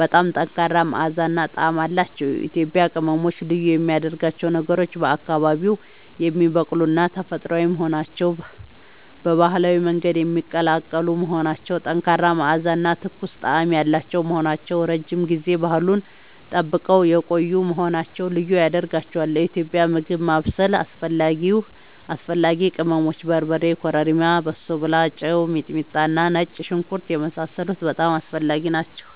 በጣም ጠንካራ መዓዛ እና ጣዕም አላቸዉ። ኢትዮጵያዊ ቅመሞች ልዩ የሚያደርጋቸው ነገሮች፦ በአካባቢዉ የሚበቅሉና ተፈጥሯዊ መሆናቸዉ፣ በባህላዊ መንገድ የሚቀላቀሉ መሆናቸዉ፣ ጠንካራ መዓዛ እና ትኩስ ጣዕም ያላቸዉ መሆናቸዉ፣ ረዥም ጊዜ ባህሉን ጠብቀዉ የቆዪ መሆናቸዉ ልዪ ያደርጋቸዋል። ለኢትዮጵያዊ ምግብ ማብሰል አስፈላጊ ቅመሞች፦ በርበሬ፣ ኮረሪማ፣ በሶብላ፣ ጨዉ፣ ሚጥሚጣና ነጭ ሽንኩርት የመሳሰሉት በጣም አስፈላጊ ናቸዉ